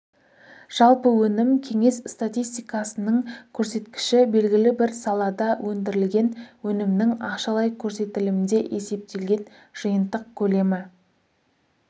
жалпы өнім кеңес статистикасының көрсеткіші белгілі бір салада өндірілген өнімнің ақшалай көрсетілімде есептелген жиынтық көлемі